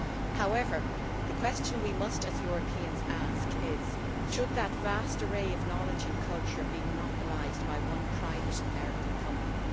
However, the question we must, as Europeans, ask is whether that vast array of knowledge and culture should be monopolised by one private American company.